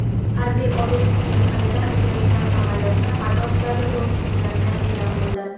harbiy ob’ekt yaqinida uchayotgan samolyotni xato tufayli urib tushirganini e’lon qildi.